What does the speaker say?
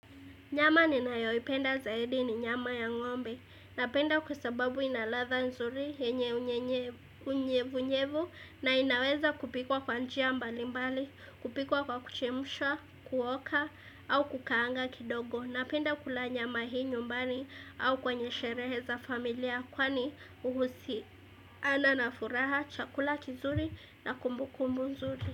Nyama ninayoipenda zaidi ni nyama ya ng'ombe napenda kwa sababu ina ladha nzuri yenye unyenyevu. Unyevunyevu na inaweza kupikwa kwa njia mbalimbali, kupikwa kwa kuchemshawa, kuoka au kukaanga kidogo. Napenda kula nyama hii nyumbani au kwenye sherehe za familia kwani uhusi ana na furaha, chakula kizuri na kumbukumbu nzuri.